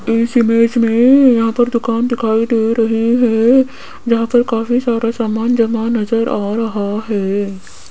इस इमेज में यहां पर दुकान दिखाई रही हैं जहां पर काफी सारा सामान जमा नजर आ रहा है।